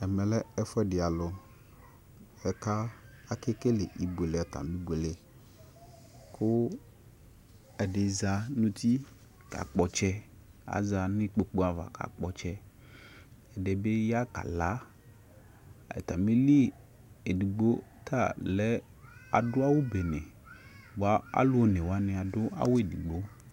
Ɛmɛlɛ ɛfuɛdi alu ƙʊ akekele atami ibʊele kʊ ɛdi zanʊ uti kakpɔ ɔtsɛ aza nu kpokʊ ava ka kpɔ ɔtsɛ ɛdibi ya kala atamili edigbo talɛ adu awu bene alu onewanii adu awu edigbo